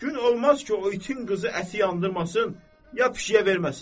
Gün olmaz ki, o itin qızı əti yandırmasın, ya pişiyə verməsin.